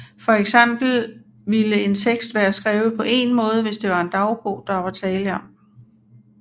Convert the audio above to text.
For eksempel ville en tekst være skrevet på én måde hvis det var en dagbog der var tale om